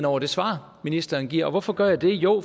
over det svar ministeren giver og hvorfor gør jeg det jo